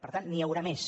per tant n’hi haurà més